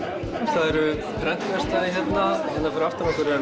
það eru prentverkstæðið hérna hérna fyrir aftan okkur er